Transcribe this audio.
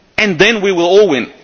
Then we will all